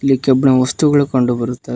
ಇಲ್ಲಿ ಕೆಬ್ಬನ ವಸ್ತುಗಳು ಕಂಡು ಬರುತಾ--